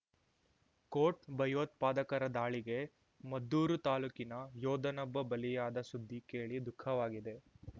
coat ಭಯೋತ್ಪಾದಕರ ದಾಳಿಗೆ ಮದ್ದೂರು ತಾಲೂಕಿನ ಯೋಧನೊಬ್ಬ ಬಲಿಯಾದ ಸುದ್ದಿ ಕೇಳಿ ದುಃಖವಾಗಿದೆ